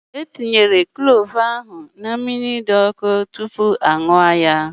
E tinyere klove ahụ na mmiri dị obere ọkụ tupu a ṅụọ ya